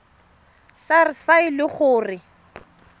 sars fa e le gore